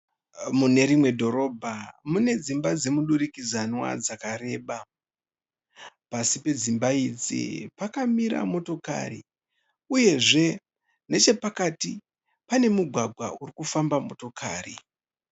Munerimwe dhorobha mune dzimba dzemuduridzanwa dzakareba . Pasi pedzimba idzi pakamira motakari. Uyezve nechepakati pane mugwagwa uri kufamba motokari.